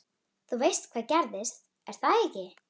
Þú veist hvað gerðist, er það ekki?